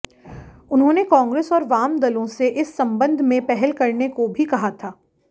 उन्होंने कांग्रेस और वाम दलों से इस संबंध में पहल करने को भी कहा था